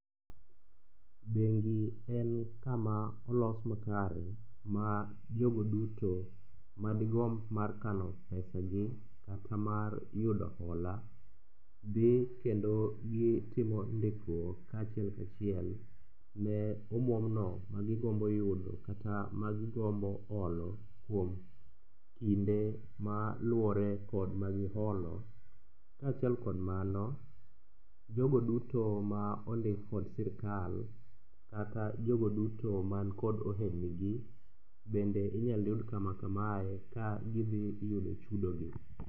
Bengi en kama olos makare ma jogo duto madigomb mar kano pesagi kata mar yudo hola, dhi kendo gitimo ndikruok kachiel kachiel ne omuomno magigombo yudo kata magigombo holo kuom kinde maluwore kod magiholo. Kaachiel kod mano, jogo duto ma ondik kod sirikal kata jogo duto makod ohelnigi bende inyal yud kama kamae ka gidhiyudo chudogi.